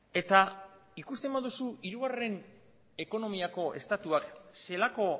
eta ikusten baduzu hirugarren ekonomiako estatuak zelako